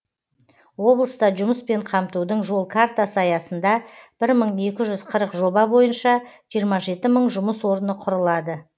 облыста жұмыспен қамтудың жол картасы аясында бір мың екі жүз қырық жоба бойынша жиырма жеті мың жұмыс орны құрылады